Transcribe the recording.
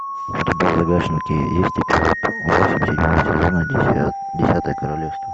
у тебя в загашнике есть эпизод восемь седьмого сезона десятое королевство